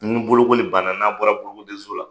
Ni bolokoli banna n'a bɔra bolokodenso la.